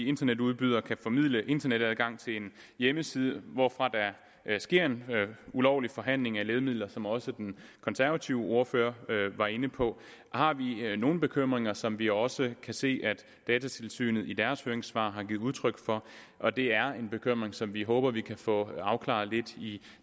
internetudbydere kan formidle internetadgang til en hjemmeside hvorfra der sker en ulovlig forhandling af lægemidler som også den konservative ordfører var inde på har vi nogle bekymringer som vi også kan se at datatilsynet i deres høringssvar har givet udtryk for og det er en bekymring som vi håber vi kan få afklaret lidt i